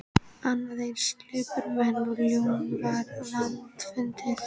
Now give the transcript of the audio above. Annað eins lipurmenni og Jón er vandfundið.